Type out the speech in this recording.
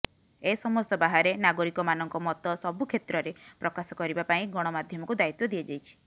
ଏ ସମସ୍ତ ବାହାରେ ନାଗରିକମାନଙ୍କ ମତ ସବୁକ୍ଷେତ୍ରରେ ପ୍ରକାଶ କରିବା ପାଇଁ ଗଣମାଧ୍ୟମକୁ ଦାୟିତ୍ୱ ଦିଆଯାଇଛି